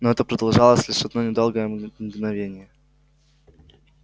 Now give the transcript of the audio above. но это продолжалось лишь одно недолгое мгновение